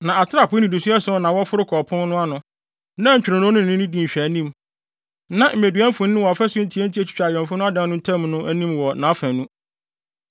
Na atrapoe nnidiso ason na wɔforo kɔ ɔpon no ano, na ntwironoo no ne no di nhwɛanim; na mmedua mfoni wɔ afasu ntiantia a etwitwa awɛmfo no adan no ntam no anim wɔ nʼafanu.